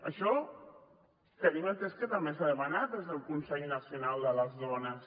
això tenim entès que també s’ha demanat des del consell nacional de les dones